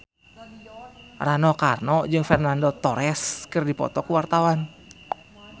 Rano Karno jeung Fernando Torres keur dipoto ku wartawan